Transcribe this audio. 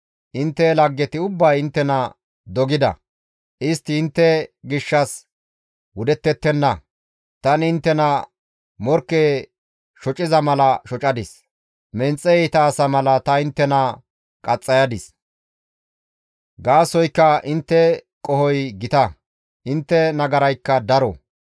Intte laggeti ubbay inttena dogida; istti intte gishshas wudettettenna; tani inttena morkke shociza mala shocadis; menxe iita asa mala ta inttena qaxxayadis. Gaasoykka intte qohoy gita; intte nagaraykka daro.